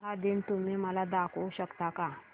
उटाहा दिन तुम्ही मला दाखवू शकता का